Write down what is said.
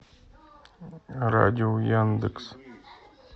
радио яндекс